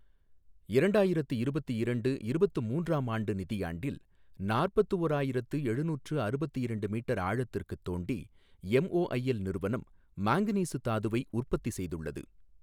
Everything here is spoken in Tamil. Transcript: இரண்டாயிரத்து இருபத்து இரண்டு இருபத்து மூன்றாம் ஆண்டு நிதியாண்டில், நாற்பத்து ஓராயிரத்து எழுநூற்று அறுபத்து இரண்டு மீட்டர் ஆழத்திற்கு தோண்டி எம்ஒஐஎல் நிறுவனம் மாங்கனீசு தாதுவை உற்பத்தி செய்துள்ளது.